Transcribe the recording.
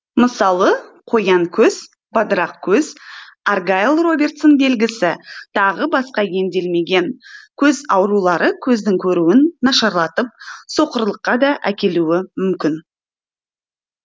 мысалы қоян көз бадырақ көз аргайлл робертсон белгісі тағы басқа емделмеген көз аурулары көздің көруін нашарлатып соқырлыққа да әкелуі мүмкін